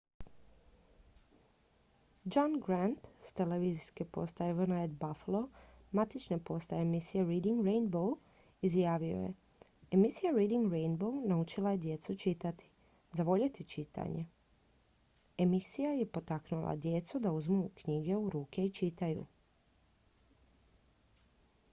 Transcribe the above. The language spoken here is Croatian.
"john grant s televizijske postaje wned buffalo matične postaje emisije reading rainbow izjavio je "emisija reading rainbow naučila je djecu čitati,... zavoljeti čitanje – [emisija] je potaknula djecu da uzmu knjigu u ruke i čitaju.""